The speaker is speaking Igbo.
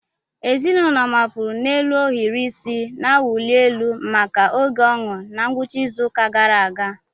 Ezinụlọ mapụrụ n'elu ohiri isi na-awụli elu maka oge ọñụ na ngwụcha izu ụka gara aga.